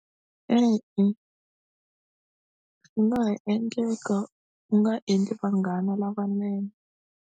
E-e u nga ha endleka u nga endli vanghana lavanene.